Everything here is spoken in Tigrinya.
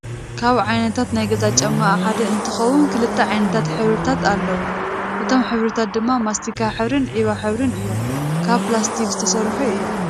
ካብ ዓይነታት ናይ ገዛ ጫማ ሓደ እንትከውን ክልተ ዓይነታት ሕብሪታት ኣለዎም እቶም ሕብሪታት ድማ ማስቲካ ሕብሪን ዒባ ሕብሪን እዮም፣ ካብ ፕላስቲክ ዝተሰርሑ እዮም።